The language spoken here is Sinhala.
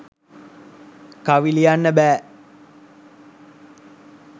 කවි ලියන්න බෑ.